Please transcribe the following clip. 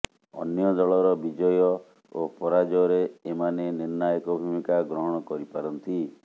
ଅନ୍ୟ ଦଳର ବିଜୟ ଓ ପରାଜୟରେ ଏମାନେ ନିର୍ଣ୍ଣାୟକ ଭୂମିକା ଗ୍ରହଣ କରିପାରନ୍ତି